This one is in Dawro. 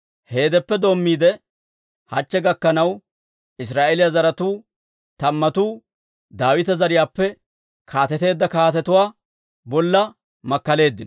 Heedeppe doommiide, hachche gakkanaw, Israa'eeliyaa zaratuu tammatuu Daawita zariyaappe kaateteedda kaatetuwaa bolla makkaleeddino.